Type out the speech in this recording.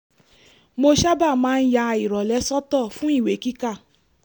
mo sábà máa ń ya ìrọ̀lẹ́ sọ́tọ̀ fún ìwé kíkà